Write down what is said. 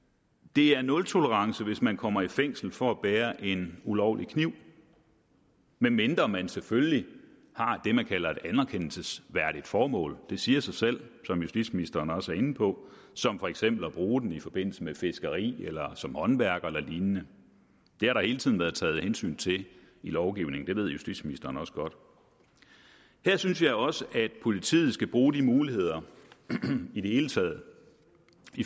det er nultolerance hvis man kommer i fængsel for at bære en ulovlig kniv medmindre man selvfølgelig har det man kalder et anerkendelsesværdigt formål det siger sig selv som justitsministeren også er inde på som for eksempel at bruge den i forbindelse med fiskeri eller som håndværker eller lignende det har der hele tiden været taget hensyn til i lovgivningen det ved justitsministeren også godt her synes jeg også at politiet skal bruge de muligheder i det hele taget